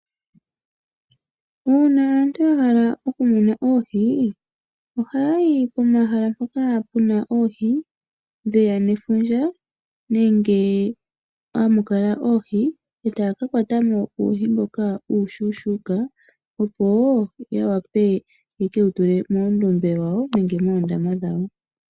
Uuna aantu yahala okumuna oohi ohaayi pomahala mpoka puna oohi ndhoka dheya nefundja nenge moondombe moka hamukala oohi etaakakwatamo uuhi mbu uushona opo ya wape yeke wutule moondombe nenge moondama dhawo.